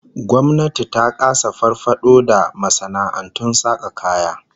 Gwamnati ta kasa farfado da masana'antun saka kaya.